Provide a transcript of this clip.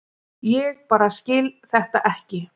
Ég bara skil þetta ekki.